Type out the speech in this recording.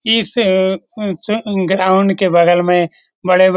इस ग्राउंड के बगल में बड़े-बड़े --